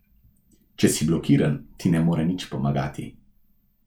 Če si blokiran, ti ne more nič pomagati.